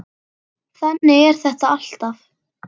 Þannig er þetta alltaf.